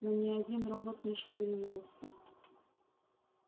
но ни один робот не шевельнулся